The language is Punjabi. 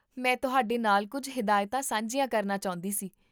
ਮੈਂ ਤੁਹਾਡੇ ਨਾਲ ਕੁੱਝ ਹਦਾਇਤਾਂ ਸਾਂਝੀਆਂ ਕਰਨਾ ਚਾਹੁੰਦੀ ਸੀ